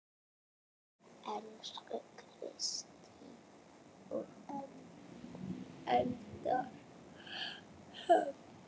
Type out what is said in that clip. Elsku Kristín og Eldar Hrafn.